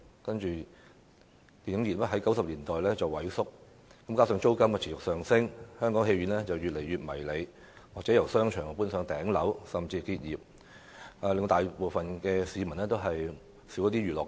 可是，電影業自90年代開始萎縮，加上租金持續上升，電影院變得越來越迷你，有些電影院由商場搬到頂樓，甚至結業，大部分市民的娛樂好去處大為減少。